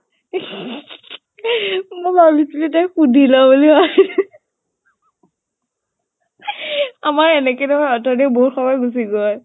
মোক সুধি ল বুলি । আমাৰ এনেকে নহয় অথনি বহুত সময় গুছি গʼল ।